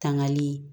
Tangali